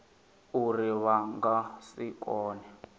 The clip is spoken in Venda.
uri vha nga si kone